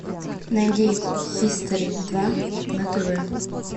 найди хистори два на тв